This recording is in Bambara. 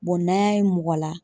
n'an y'a ye mɔgɔ la